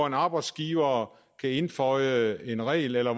en arbejdsgiver kan indføje en regel eller